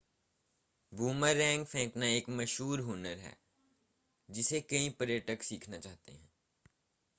boomerang फेंकना एक मशहूर हुनर है जिसे कई पर्यटक सीखना चाहते हैं